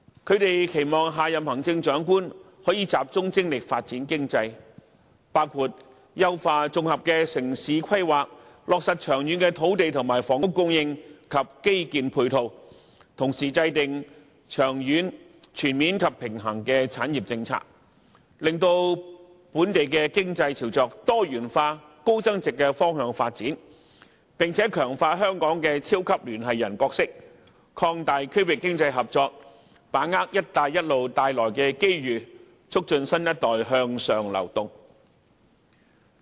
他們期望下任行政長官能集中精力發展經濟，包括優化綜合城市規劃，落實長遠的土地和房屋供應及基建配套，同時制訂長遠、全面及平衡的產業政策，令本地經濟朝着多元化、高增值的方向發展，並強化香港的超級聯繫人角色，擴大區域經濟合作，把握"一帶一路"帶來的機遇，促進新一代向上流動。